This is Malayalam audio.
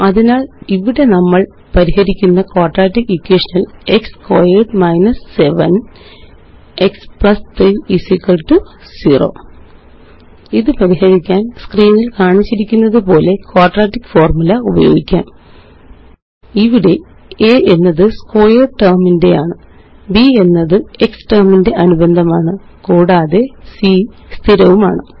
അതിനാല് ഇവിടെ നമ്മള് പരിഹരിക്കുന്ന ക്വാഡ്രാറ്റിക് ഇക്വേഷൻ ല് x സ്ക്വയർഡ് 7 x 3 0 ഇത് പരിഹരിക്കാന് സ്ക്രീനില് കാണിച്ചിരിക്കുന്നതുപോലെ ക്വാഡ്രാറ്റിക് ഫോർമുല ഉപയോഗിക്കാം ഇവിടെa എന്നത്x സ്ക്വയർഡ് ടെർമ് ന്റെയാണ് b എന്നത്x ടെർമ് ന്റെ അനുബന്ധമാണ് കൂടാതെ c സ്ഥിരമാണ്